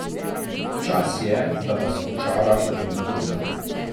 Čas je, da vas očara rodna gruda.